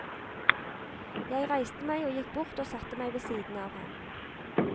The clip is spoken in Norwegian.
Jeg reiste meg og gikk bort og satte meg ved siden av ham.